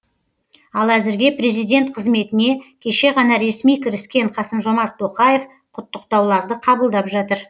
ал әзірге президент қызметіне кеше ғана ресми кіріскен қасым жомарт тоқаев құттықтауларды қабылдап жатыр